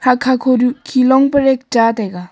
hakha khoru khilong pa red cha taiga.